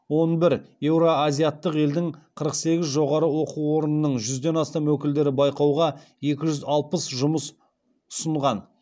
он бір еуроазиаттық елдің қырық сегіз жоғары оқу орынның жүзден астам өкілдері байқауға екі жүз алпыс жұмыс ұсынған